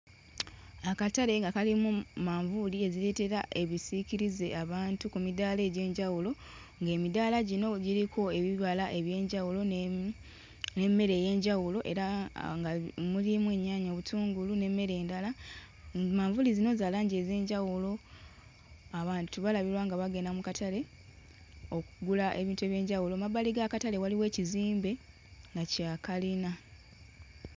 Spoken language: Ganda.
Akatale nga kalimu manvuuli ezireetera ebisiikirize abantu ku midaala egy'enjawulo ng'emidaala gino giriko ebirala eby'enjawulo ne... n'emmere ey'enjawulo era nga mulimu ennyaanya, obutungulu n'emmere endala. Manvuuli zino za langi ez'enjawulo, abantu balabirwa nga bagenda mu katale okugula ebintu eby'enjawulo. Mu mabbali g'akatale waliwo ekizimbe nga kya kalina.